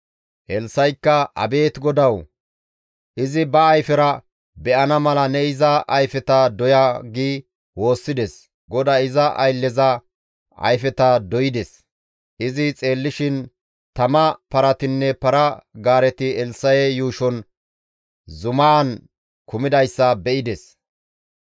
Elssa7ikka, «Abeet GODAWU! Izi ba ayfera be7ana mala ne iza ayfeta doya» gi woossides; GODAY iza aylleza ayfeta doy7ides; izi xeellishin tama paratinne para-gaareti Elssa7e yuushon zumaan kumidayssa be7ides.